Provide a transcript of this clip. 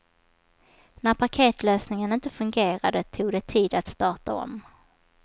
När paketlösningen inte fungerade tog det tid att starta om.